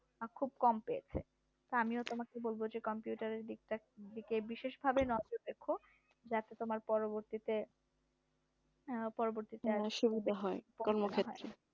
খুব কম পেয়েছে আমিও তোমাকে বলবো যে computer এর দিকটা দিকে বিশেষভাবে নজর রেখো পরবর্তীতে আবার সুবিধা হয়